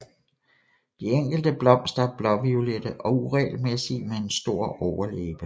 De enkelte blomster er blåviolette og uregelmæssige med en stor overlæbe